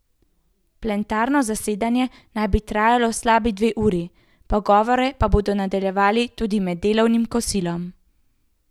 Plenarno zasedanje naj bi trajalo slabi dve uri, pogovore pa bodo nadaljevali tudi med delovnim kosilom.